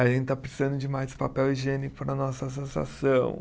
A gente está precisando de mais papel higiênico na nossa associação.